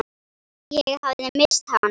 Ég hafði misst hana.